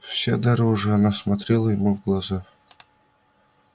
вся дрожа она смотрела ему в глаза